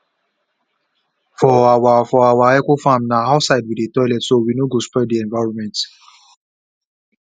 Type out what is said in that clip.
for our for our ecofarm na outside we dey toilet so we no go spoil the environment